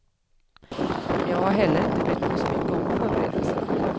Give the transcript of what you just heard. Men jag har heller inte brytt mej så mycket om förberedelserna.